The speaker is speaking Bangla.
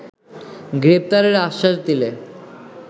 গ্রেপ্তারের আশ্বাস দিলে